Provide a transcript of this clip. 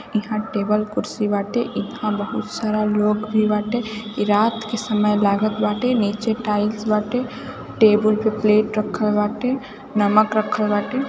इहाँ टेबल कुर्सी बाटे बहोत सारा लोग भी खड़े बाटे ई रात का समय लागत बाटे नीचे टेल्स बाटे टेबल पे प्लेट राखल बाटे नमक रखल बाटे ।